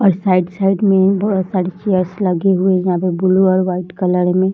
और side - side में बहुत सारे चेयरस लगे हुए यहां पे ब्लू और व्हाइट कलर में